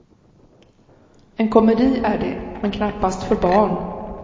En komedi är det, men knappast för barn.